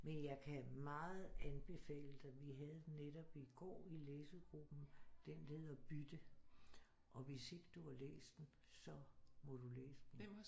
Men jeg kan meget anbefale dig vi havde den netop i går i læsegruppen den der hedder Bytte og hvis ikke du har læst den så må du læse den